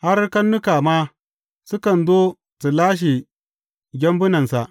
Har karnuka ma sukan zo su lashe gyambunansa.